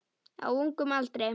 Á ungum aldri.